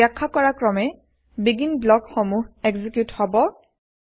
বাখ্যা কৰা ক্ৰমে বেগিন ব্লক সমূহ এক্সিকিউত হব